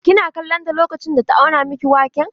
Kina kallon ta lokacin da ta auna miki waken?